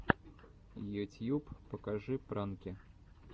ютьюб покажи пранки